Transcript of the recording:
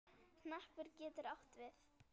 Hnappur getur átt við